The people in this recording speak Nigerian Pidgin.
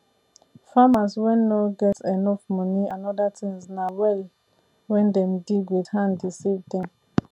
farmers wen nor get enough money and other things na well wen dem dig with hand dey save dem